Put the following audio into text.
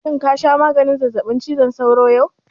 Shin ka sha maganin zazzaɓin cizon sauron yau?